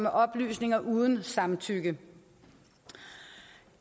oplysninger uden samtykke